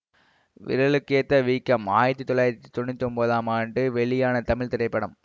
விரலுக்கேத்த வீக்கம் ஆயிரத்தி தொள்ளாயிரத்தி தொன்னூற்தி ஒன்பதாம் ஆண்டு வெளியான தமிழ் திரைப்படம்